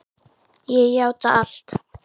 Ég játa allt